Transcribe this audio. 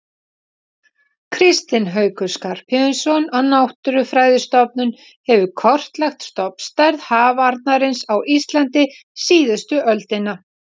Kristinn Haukur Skarphéðinsson á Náttúrufræðistofnun hefur kortlagt stofnstærð hafarnarins á Íslandi síðustu öldina.